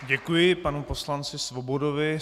Děkuji panu poslanci Svobodovi.